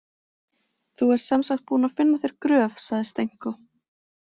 Þú ert sem sagt búinn að finna þér gröf, sagði Stenko.